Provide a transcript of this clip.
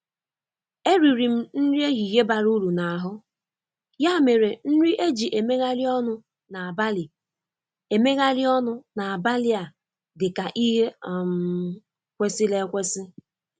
Eriri m nri ehihie bara uru n'ahụ, ya mere nri eji emegharị ọnụ n'abalị emegharị ọnụ n'abalị a dị ka ihe um kwesịrị ekwesị.